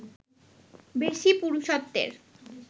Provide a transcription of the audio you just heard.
বেশি পুরুষত্বের